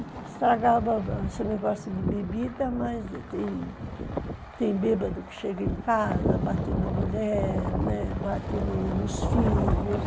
Estragava esse negócio de bebida, mas tem, tem bêbado que chega em casa, bate na mulher, né, bate nos filhos.